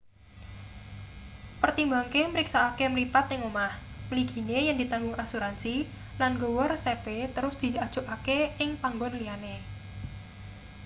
pertimbangke mriksakake mripat ing omah mligine yen ditanggung asuransi lan nggawa resepe terus diajokake ing panggon liyane